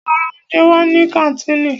Lọ ra óúnjẹ wá ní kàńtìnì!